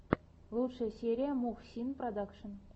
лучшая серия мухсин продакшен